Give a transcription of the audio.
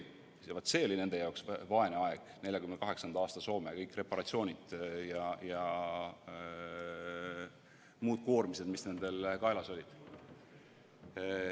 Vaat see oli nende jaoks vaene aeg, 1948. aasta Soome, kõik reparatsioonid ja muud koormised, mis nendel kaelas olid.